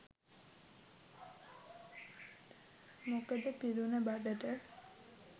මොකද පිරුණ බඩට